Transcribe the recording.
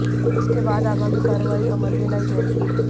इसके बाद आगामी कार्रवाई अमल में लाई जाएगी